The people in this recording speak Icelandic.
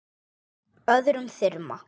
öðrum þyrma.